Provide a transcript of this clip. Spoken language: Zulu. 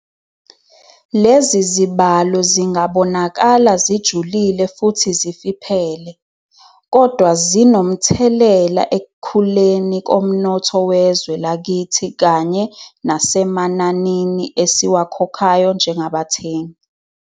Lezi zibalo zingabonakala zijulile futhi zifiphele, kodwa zinomthelela ekukhuleni komnotho wezwe lakithi kanye nasemananini esiwakhokhayo njengabathengi.